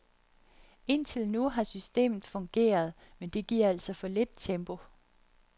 Indtil nu har systemet fungeret, men det giver altså for lidt tempo.